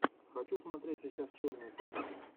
хочу смотреть сейчас черную комедию